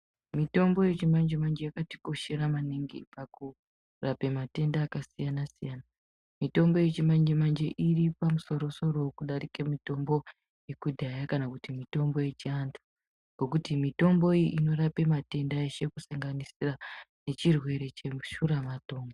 Mitombo yechimanje manje yakatikoshera maningi pakurape matenda akasiyana siyana. Mitombo yechimanje manje iri pamusoro soro kudarike mitombo yekudhaya kana kuti mitombo yechiantu ngekuti mitombo iyi inorape matenda eshe kusanganisira nechirwere cheshuramatongo.